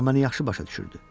O məni yaxşı başa düşürdü.